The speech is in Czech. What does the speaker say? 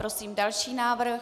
Prosím další návrh.